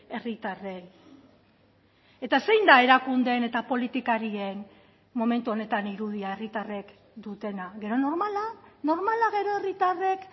herritarrei eta zein da erakundeen eta politikarien momentu honetan irudia herritarrek dutena gero normala normala gero herritarrek